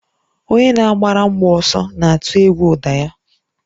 Onye na-agbara mgbọ ọsọ na-atụ egwu ụda ya